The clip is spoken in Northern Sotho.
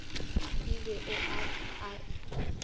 e ba o a e